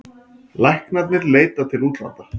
Læknarnir leita til útlanda